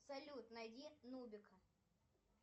салют найди нубика